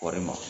Kɔɔri ma